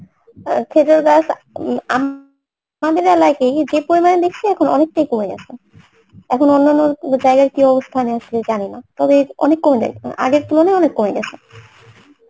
আহ খেজুর গাছ আমাদের এলাকাতেই যে পরিমান দেখসি এখন অনেকটাই কমে গেসে এখন অনন্য জায়গায় কি অবস্থা আমি আসলে জানিনা তবে অনেক কমছে আহ আগের তুলনায় অনেক কমে গেসে